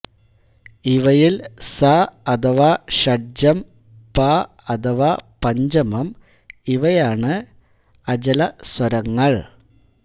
ഇവയിൽ സ അഥവാ ഷഡ്ജം പ അഥവാ പഞ്ചമം ഇവയാണ് അചലസ്വരങ്ങൾ